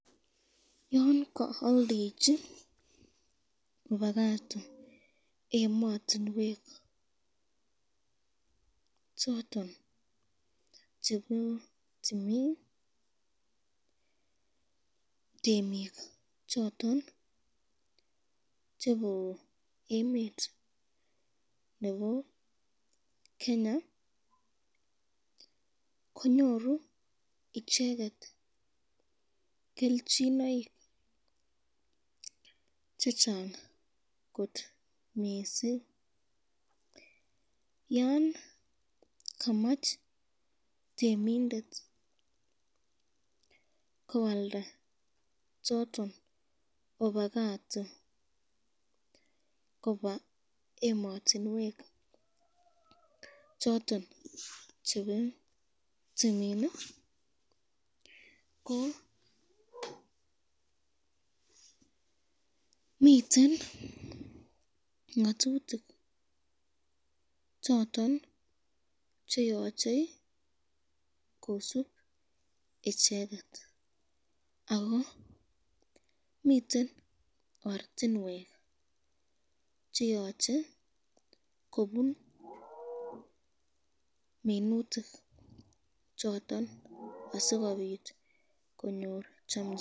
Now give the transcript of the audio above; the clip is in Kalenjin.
Yon kaldechin opakato ematinwek choton chebo timin temik choton chebo emet nebo Kenya konyoru icheket kelchinoik chechang kot missing, yan kamach temindet koalda choton opakato koba ematinwek choton chebo timin, ko miten ngatutik choton cheyoche kisub icheket ko miten ortinwek cheyoche kobun minutik choton asikobit konyor chamchinet.